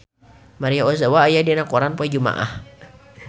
Maria Ozawa aya dina koran poe Jumaah